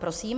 Prosím.